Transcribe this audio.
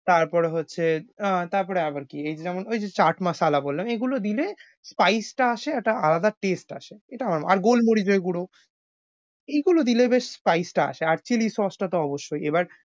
তারপরে হচ্ছে আহ তারপরে আবার কী এই যেমন ঐ যে chaat masala বললাম এগুলো দিলে spice আসে একটা আলাদা taste আসে। এটা আর গোল মরিচের গুড়ো এগুলো দিলে বেশ spice টা আসে আর chilli sauce টা তো অবশ্যই। এবার